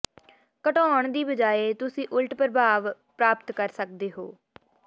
ਘਟਾਉਣ ਦੀ ਬਜਾਏ ਤੁਸੀਂ ਉਲਟ ਪ੍ਰਭਾਵ ਪ੍ਰਾਪਤ ਕਰ ਸਕਦੇ ਹੋ